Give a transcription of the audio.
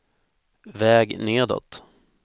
väg nedåt